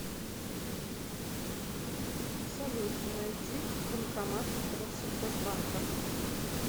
салют найди банкомат россельхозбанка